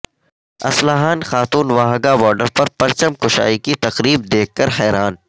اصلاحان خاتون واہگہ بارڈر پر پرچم کشائی کی تقریب دیکھ کر حیران